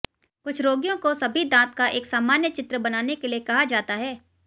कुछ रोगियों को सभी दांत का एक सामान्य चित्र बनाने के लिए कहा जाता है